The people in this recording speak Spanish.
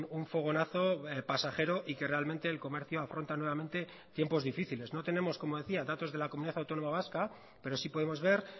un fogonazo pasajero y que realmente el comercio afronta nuevamente tiempos difíciles no tenemos como decía datos de la comunidad autónoma vasca pero sí podemos ver